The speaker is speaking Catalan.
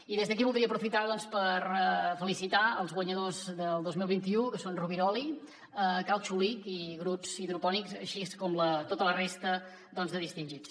i des d’aquí voldria aprofitar doncs per felicitar els guanyadors del dos mil vint u que són roviroli cal xulic i groots hydroponics així com a tota la resta de distingits